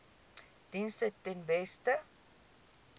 dienste ten beste